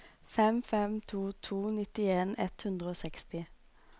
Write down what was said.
fem fem to to nittien ett hundre og seksti